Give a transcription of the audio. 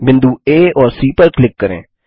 बिंदु आ और सी पर क्लिक करें